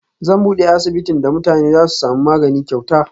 Zan bude asibitin da mutane Zasu samu magani kyauta